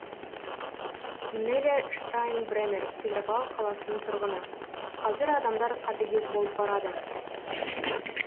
неля штайнбренер петропавл қаласының тұрғыны қазір адамдар қатыгез болып барады